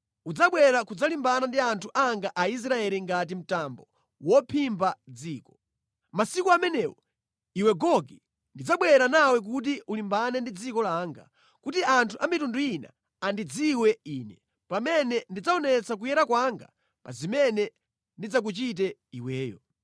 Udzabwera kudzalimbana ndi anthu anga Aisraeli ngati mtambo wophimba dziko. Masiku amenewo, iwe Gogi, ndidzabwera nawe kuti ulimbane ndi dziko langa, kuti anthu a mitundu ina andidziwe Ine, pamene ndidzaonetsa kuyera kwanga pa zimene ndidzakuchite iweyo.